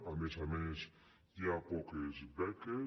a més a més hi ha poques beques